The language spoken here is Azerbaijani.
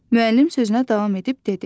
Müəllim sözünə davam edib dedi: